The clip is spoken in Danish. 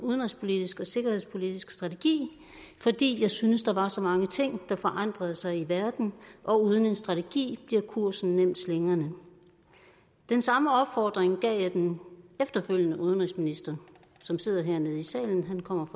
udenrigspolitisk og sikkerhedspolitisk strategi fordi jeg syntes at der var så mange ting der forandrede sig i verden og uden en strategi bliver kursen nemt slingrende den samme opfordring gav jeg den efterfølgende udenrigsminister som sidder hernede i salen han kommer